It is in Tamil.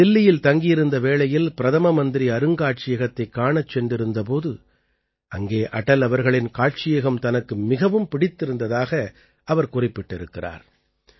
அவர் தில்லியில் தங்கியிருந்த வேளையில் பிரதம மந்திரி அருங்காட்சியகத்தைக் காணச் சென்றிருந்த போது அங்கே அடல் அவர்களின் காட்சியகம் தனக்கு மிகவும் பிடித்திருந்ததாக அவர் குறிப்பிட்டிருக்கிறார்